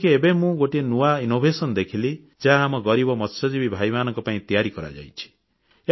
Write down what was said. ଯେମିତିକି ଏବେ ମୁଁ ଗୋଟିଏ ନୂଆ ଆବିଷ୍କାର ଦେଖିଲି ଯାହା ଆମ ଗରିବ ମତ୍ସ୍ୟଜୀବୀ ଭାଇମାନଙ୍କ ପାଇଁ ତିଆରି କରାଯାଇଛି